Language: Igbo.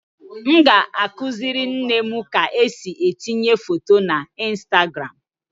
M ga-akụziri nne m ka esi etinye foto na Instagram